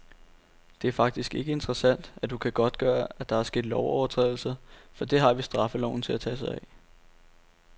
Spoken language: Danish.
Det er faktisk ikke interessant, at du kan godtgøre, at der er sket lovovertrædelser, for det har vi straffeloven til at tage sig af.